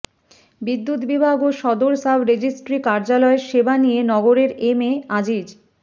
বিদ্যুৎ বিভাগ ও সদর সাবরেজিস্ট্রি কার্যালয়ের সেবা নিয়ে নগরের এম এ আজিজ